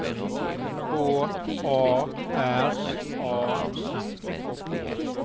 H A R A M